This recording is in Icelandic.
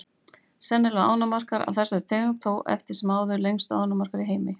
Sennilega eru ánamaðkar af þessari tegund þó eftir sem áður lengstu ánamaðkar í heimi.